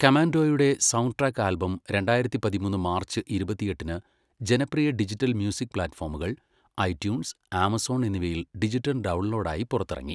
കമാൻഡോയുടെ sound track album രണ്ടായിരത്തി പതിമൂന്ന് March ഇരുപത്തിയെട്ടിന് ജനപ്രിയ ഡിജിറ്റൽ മ്യൂസിക് പ്ലാറ്റ്ഫോമുകൾ , ഐട്യൂൺസ്, ആമസോൺ എന്നിവയിൽ ഡിജിറ്റൽ ഡൗൺലോഡ് ആയി പുറത്തിറങ്ങി.